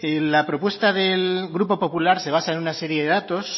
la propuesta del grupo popular se basa en una serie de datos